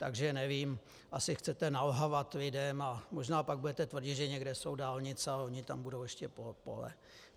Takže nevím, asi chcete nalhávat lidem, a možná pak budete tvrdit, že někde jsou dálnice, ale ona tam budou ještě pole.